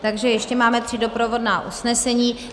Takže ještě máme tři doprovodná usnesení.